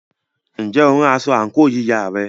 Ǹjẹ́ o rán aṣọ àǹkóò yíya rẹ?